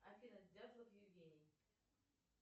афина дятлов евгений